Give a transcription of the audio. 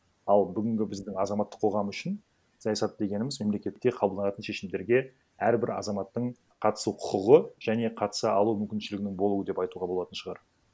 ал бүгінгі біздің азаматтық қоғам үшін саясат дегеніміз мемлекетте қабылданатын шешімдерге әрбір азаматтың қатысу құқығы және қатыса алу мүмкіншілігінің болуы деп айтуға болатын шығар